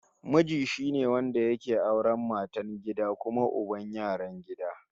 Miji shine wanda yake auran matar gida kuma uban yaran gida